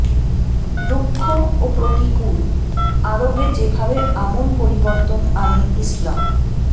রুক্ষ ও প্রতিকূল আরবে যেভাবে আমূল পরিবর্তন আনে ইসলাম